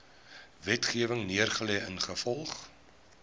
wetgewing neergelê ingevolge